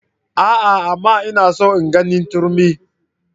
A'a! amma ina son ganin turmi.